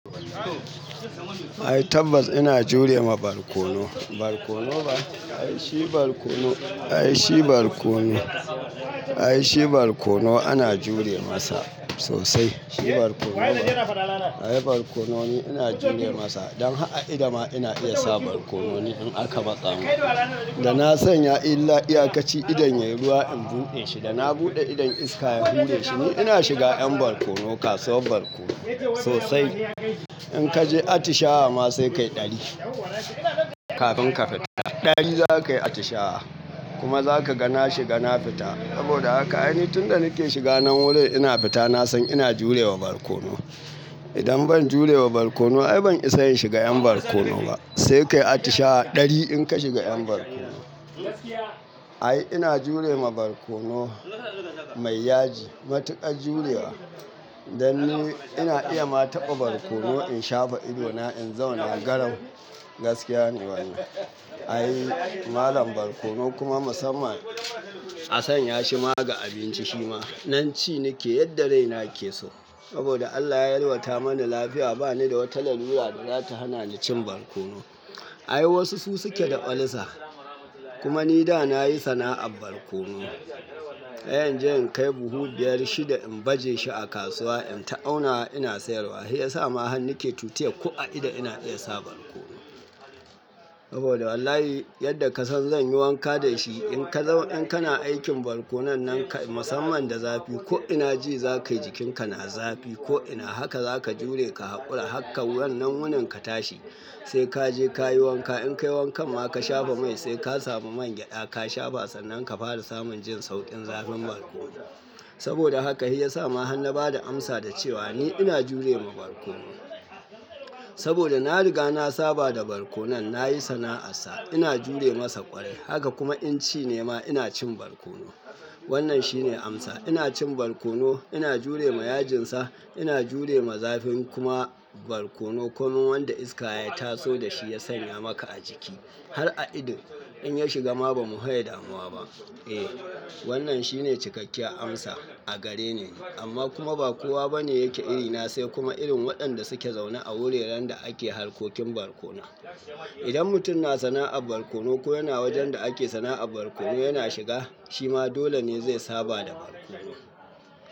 Ai tabbas ina jurewa barkono. Barkono ba, ai shi barkono, ai shi barkono, ai shi barkono ana jure masa sosai. Shi barkono ba, ai barkono ne ina jure masa. Don har a ido ma ina iya sa barkono in aka matsa min da na sanya illa iyakaci idan yayi ruwa in buɗe shi, da na buɗe idan iska ya buɗe shi, ni ina shiga yan barkono kasuwar barkono sosai. In kaje atishawa ma sai kayi ɗari kafin ka fita. Ɗari zakayi atishawa kuma zaka ga na shiga na fita. Saboda haka ai ni tun da nake shiga nan wurin ina fita na san ina jurewa barkono. Idan ban jurewa barkono ai ban isa in shiga yan barkono ba. Sai kayi atishawa ɗari in ka shiga yan barkono. Ai ina jurema barkono mai yaji, matuƙar jurewa. Dan ni ina iya ma taɓa barkono in shafa idona in zauna garau gaskiya ne wannan. Ai malam barkono kuma musamman a sanya shi ma ga abinci shi ma. Nan ci nake yadda raina ke so. Saboda Allah ya yalwata mani lafiya ba ni da wata larura da zata hana ni cin barkono. Ai wasu su suke da olsa. Kuma ni da nayi sana'ar barkono. Ai inje in kai buhu biyar shida in baje shi a kasuwa in ta aunawa ina sayarwa. Shi yasa ma han nake tutiye ko a ido ina iya sa barkono. Saboda wallahi yadda ka san zan yi wanka da shi in ka zauna in kana aikin barkonon nan kai musamman da zafi ko ina ji zakayi jikinka na zafi ko ina haka zaka jure ka haƙura hakkan wannan wunin ka tashi sai kaje kayi wanka in kai wanka ma ka shafa mai sai ka samu man gyaɗa ka shafa sannan ka fara samun jin sauƙin zafin barkono. Saboda haka shi yasa ma han na bada amsa da cewa ni ina jurewa barkono. Saboda na riga na saba da barkono nayi sana'ar sa ina jure masa ƙwarai haka kuma in ci ne ma ina cin barkono. Wannan shine amsa ina cin barkono ina jurema yajinsa ina jurewa zafin kuma barkono kuma wanda iska ya taso da shi ya sanya maka a jiki har a ido in ya shiga ma bamu hiye damuwa ba. Eh wannan shine cikakken amsa a gare ni amma kuma ba kowa bane yake irina sai kuma irin waɗanda suke zaune a wuraren da ake harkokin barkono. Idan mutum na sana'ar barkono ko yana wajen da ake sana'ar barkono yana shiga shi ma dole ne zai saba da barkono.